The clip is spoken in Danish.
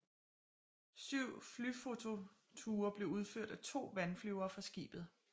Syv flyfototure blev udført af to vandflyvere fra skibet